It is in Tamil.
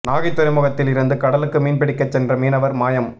நாகை துறைமுகத்தில் இருந்து கடலுக்கு மீன் பிடிக்க சென்ற மீனவர் மாயம்